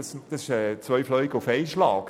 Das sind zwei Fliegen auf einen Schlag.